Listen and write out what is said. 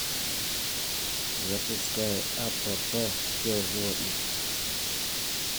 запускай апп все о животных